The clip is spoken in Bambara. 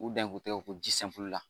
U dan ye k'u tɛgɛ ko ji la.